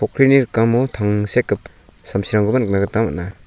pokrini rikamo tangsekgip samsirangkoba nikna gita man·a.